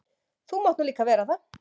Þú mátt nú líka vera það.